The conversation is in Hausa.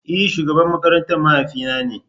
E! shugaban makaranta mahaifi na ne.